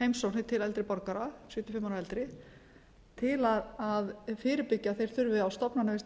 heimsóknir til eldri borgara sjötíu og fimm ára og eldri til að fyrirbyggja að þeir þurfi á stofnanavist að